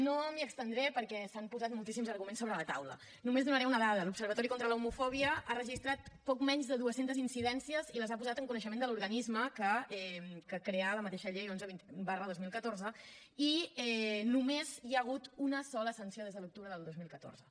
no m’hi estendré perquè s’han posat moltíssims arguments sobre la taula només donaré una dada l’observatori contra l’homofòbia ha registrat poc menys de dues centes incidències i les ha posat en coneixement de l’organisme que ha creat la mateixa llei onze dos mil catorze i només hi ha hagut una sola sanció des de l’octubre del dos mil catorze